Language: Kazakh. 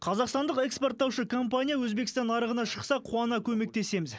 қазақстандық экспорттаушы компания өзбекстан нарығына шықса қуана көмектесеміз